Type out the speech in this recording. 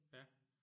Ja?